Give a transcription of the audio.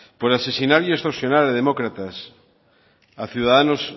por asesinar y extorsionar a demócratas a ciudadanos